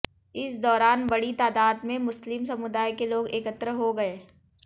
इस दौरान बड़ी तादाद में मुस्लिम समुदाय के लोग एकत्र हो गए